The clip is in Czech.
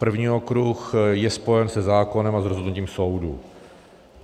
První okruh je spojen se zákonem a s rozhodnutím soudu.